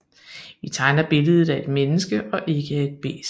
Vi tegner billedet af et menneske og ikke af et bæst